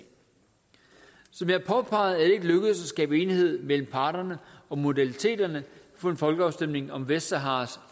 som jeg påpegede er at skabe enighed mellem parterne om modaliteterne for en folkeafstemning om vestsaharas